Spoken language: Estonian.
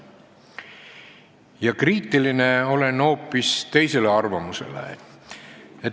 Ja olen kriitiline hoopis teise arvamuse suhtes.